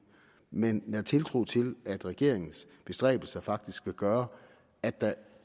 men at nære tiltro til at regeringens bestræbelser faktisk vil gøre at der